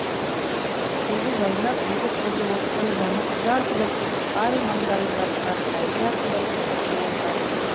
жүзі жайнап екі көзі оттай жанып жарқ жұрқ етіп ай маңдайы жарқырап бәйге атындай тыпыршып отыратын